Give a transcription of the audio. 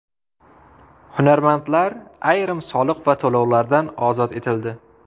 Hunarmandlar ayrim soliq va to‘lovlardan ozod etildi.